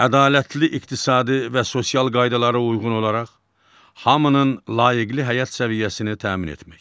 Ədalətli iqtisadi və sosial qaydalara uyğun olaraq hamının layiqli həyat səviyyəsini təmin etmək.